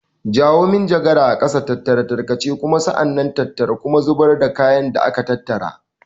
Jawo manjagara a ƙasa, tattara tarkace, sa'an nan kuma tattara kuma zubar da kayan da aka tattara.